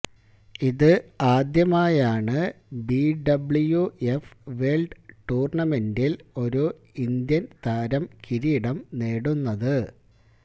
ഇത് ആദ്യമായാണ് BWF world ടൂര്ണമെന്റില് ഒരു ഇന്ത്യന് താരം കിരീടം നേടുന്നത്